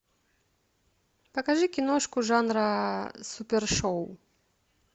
покажи киношку жанра супершоу